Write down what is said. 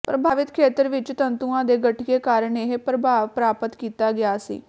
ਪ੍ਰਭਾਵਿਤ ਖੇਤਰ ਵਿੱਚ ਤੰਤੂਆਂ ਦੇ ਗਠੀਏ ਕਾਰਨ ਇਹ ਪ੍ਰਭਾਵ ਪ੍ਰਾਪਤ ਕੀਤਾ ਗਿਆ ਸੀ